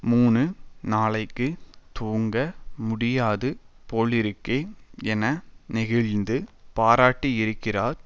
மூணு நாளைக்கு தூங்க முடியாது போலிருக்கே என நெகிழ்ந்து பாராட்டியிருக்கிறார்